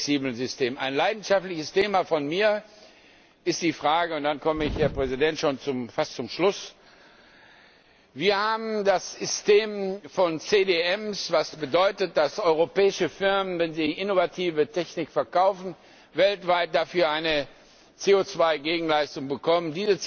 Eines meiner leidenschaftlichen Themen ist die Frage und dann komme ich, Herr Präsident, schon fast zum Schluss Wir haben das System von CDM, was bedeutet, dass europäische Firmen, wenn sie innovative Technik verkaufen, weltweit dafür eine CO 2 Gegenleistung bekommen.